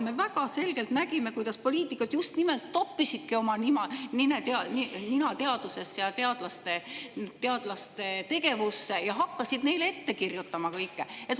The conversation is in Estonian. Me väga selgelt nägime, kuidas poliitikud just nimelt toppisidki oma nina teadusesse ja teadlaste tegevusse ja hakkasid neile kõike ette kirjutama.